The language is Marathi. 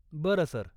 बरं सर.